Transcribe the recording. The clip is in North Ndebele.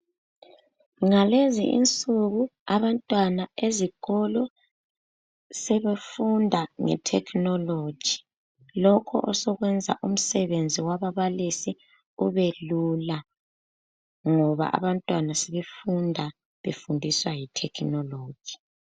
Ngalezi insuku abantwana ezikolo sebefunda ngethekhinoloji. Lokhu osokwenza umsebenzi wababalisi ube lula, ngoba abantwana sebefunda befundiswa yithekhinoloji.